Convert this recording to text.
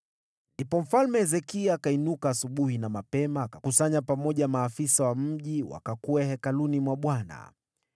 Ndipo Mfalme Hezekia akainuka asubuhi na mapema, akakusanya pamoja maafisa wa mji wakakwea hekaluni mwa Bwana .